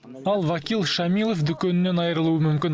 ал вакил шамилов дүкенінен айырылуы мүмкін